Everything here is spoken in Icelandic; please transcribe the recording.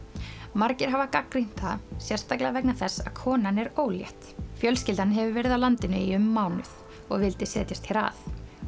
margir hafa gagnrýnt það sérstaklega vegna þess að konan er ólétt fjölskyldan hefur verið hér á landi í um mánuð og vildi setjast hér að